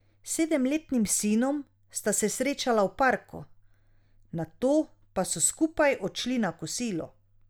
S sedemletnim sinom sta se srečala v parku, nato pa so skupaj odšli na kosilo.